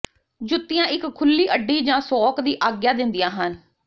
ਜੁੱਤੀਆਂ ਇੱਕ ਖੁੱਲ੍ਹੀ ਅੱਡੀ ਜਾਂ ਸੌਕ ਦੀ ਆਗਿਆ ਦਿੰਦੀਆਂ ਹਨ